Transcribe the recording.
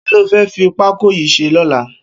Kiló fẹ̀ fi pákó yi ṣé lọ̀lá?